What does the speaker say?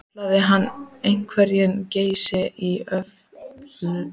Kallaði hann hverinn Geysi í Ölfusi.